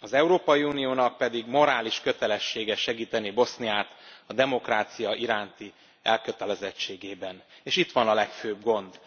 Az Európai Uniónak pedig morális kötelessége segíteni Boszniát a demokrácia iránti elkötelezettségében, és itt van a legfőbb gond.